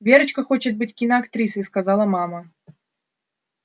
верочка хочет быть киноактрисой сказала мама